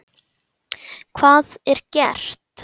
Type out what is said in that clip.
Hvað er gert?